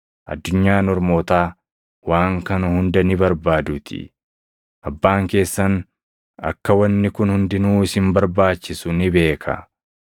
Addunyaan ormootaa waan kana hunda ni barbaaduutii; Abbaan keessan akka wanni kun hundinuu isin barbaachisu ni beeka.